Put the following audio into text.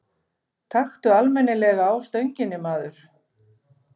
Taktu almennilega á stönginni, maður!